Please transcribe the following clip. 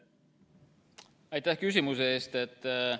Aitäh küsimuse eest!